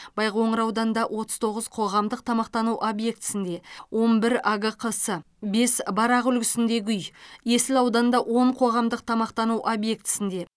байқоңыр ауданында отыз тоғыз қоғамдық тамақтану объектісінде он бір агқс бес барақ үлгісіндегі үй есіл ауданында он қоғамдық тамақтану объектісінде